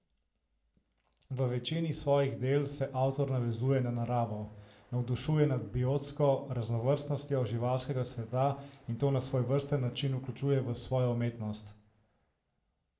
V večini svojih del se avtor navezuje na naravo, navdušuje nad biotsko raznovrstnostjo živalskega sveta in to na svojevrsten način vključuje v svojo umetnost.